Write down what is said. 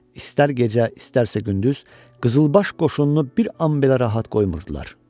İstər gecə, istərsə gündüz qızılbaş qoşunu bir an belə rahat qoymurdular.